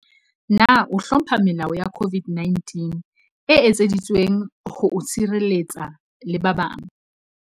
Na o hlompha melao ya COVID-19 e etseditsweng ho o sireletsa le ba bang?